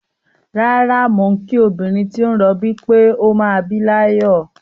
Rárá, mò ń kí obìnrin tí ó ń rọbí pé ó máa bí láyọ̀.